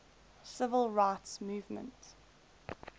civil rights movement